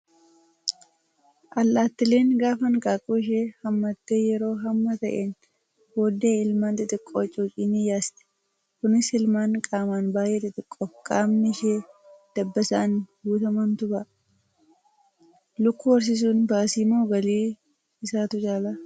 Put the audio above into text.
Allaattiileen gaafa hanqaaquu ishee hammattee yeroo hamma ta'een booddee ilmaan xixiqqoo cuucii ni yaasti. Kunis ilmaan qaamaan baay'ee xixiqqoo fi qaamni ishee dabbasaan guutamantu baha. Lukkuu horsiisuun baasii moo galii isaatu caalaa?